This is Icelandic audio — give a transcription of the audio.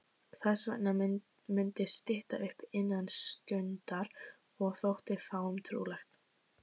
Þessvegna mundi stytta upp innan stundar- og þótti fáum trúlegt.